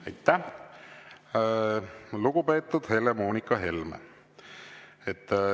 Aitäh, lugupeetud Helle‑Moonika Helme!